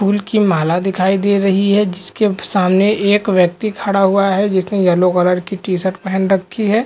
फूल की माला दिखाई दे रही है जिसके सामने एक व्यक्ति खड़ा हुआ है जिसने येलो कलर की टी-शर्ट पहन रखी है।